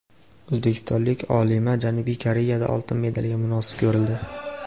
O‘zbekistonlik olima Janubiy Koreyada oltin medalga munosib ko‘rildi.